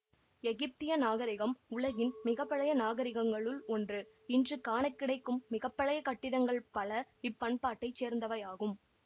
எகிப்திய நாகரிகம் உலகின் மிக பழைய நாகரிகங்களுள் ஒன்று இன்று காண கிடைக்கும் மிக பழைய கட்டிடங்கள் பல இப்பண்பாட்டைச் சேர்ந்தவையாகும்